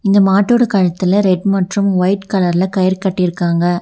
இந்த மாட்டோட கழுத்துல ரெட் மற்றும் ஒய்ட் கலர்ல கயிறு கட்டிருக்காங்க.